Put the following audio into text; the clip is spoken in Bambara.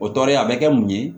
O tɔɔrɔ ye a bɛ kɛ mun ye